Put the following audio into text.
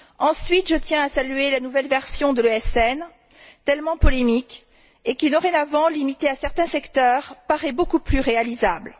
Ensuite, je tiens à saluer la nouvelle version de l'ESN, tellement polémique, et qui, dorénavant limité à certains secteurs, paraît beaucoup plus réalisable.